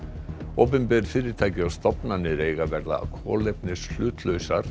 opinber fyrirtæki og stofnanir eiga að verða